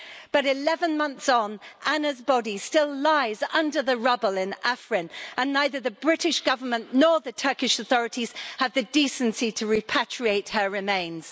But, 11 months on, Anna's body still lies under the rubble in Afrin and neither the British Government nor the Turkish authorities had the decency to repatriate her remains.